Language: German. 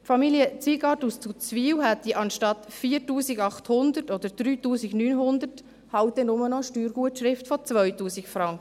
Familie Zwygart aus Zuzwil hätte anstatt 4800 oder 3900 Franken dann eben nur noch eine Steuergutschrift von 2000 Franken.